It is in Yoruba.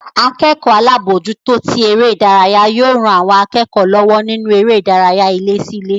Akẹ́kọ̀ọ́ alábòójútó tí eré ìdárayá yóò ran àwọn akẹ́kọ̀ọ́ lọ́wọ́ nínú eré ìdárayá ilé sí ilé